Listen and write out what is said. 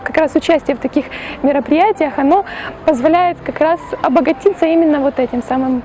как раз участие в таких мероприятиях оно позволяет как раз обогатиться именно вот этим самым